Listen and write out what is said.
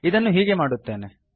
ಇದನ್ನು ಹೀಗೆ ಮಾಡುತ್ತೇನೆ